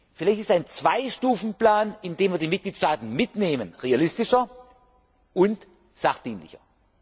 Vielleicht ist ein Zweistufenplan, indem wir die Mitgliedstaaten mitnehmen, realistischer und sachdienlicher.